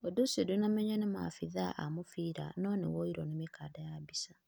Ũndu ũcio ndũnamenywo nĩ maabĩthaa a mũbĩra no nĩ woĩrwo ni mĩkanda ya mbica